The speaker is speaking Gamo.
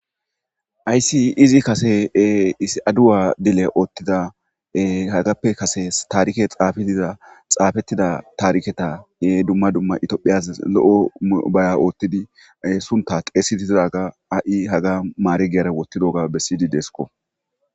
Haysi izi Kase izi adawa dile otida hagappe Kase tarike xafi diza xafetida tariketa dumma dumma ithiyophiyazasi lo'o baya otidi sunta xeyisiza ha'i hagani ma'iregiyara wothidaga besidi desko.